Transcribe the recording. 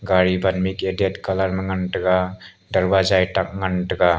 gari ban mik red colour ma ngan tega darwaja e dak ngan tega.